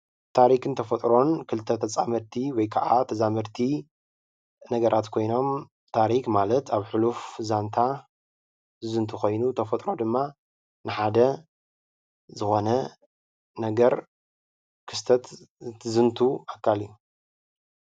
ታሪክን ተፈጥሮን ክልተ ተፃመድቲ ወይ ከዓ ተዛመድቲ ነገራት ኮይኖም ታሪክ ማለት ኣብ ሕሉፍ ዛንታ ዝዝንቱ ኮይኑ ተፈጥሮ ማለት ድማ ንሓደ ዝኾነ ነገር ክስተት እንትዝንቱ ኣካል እዩ፡፡